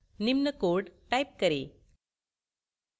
निम्न code type करें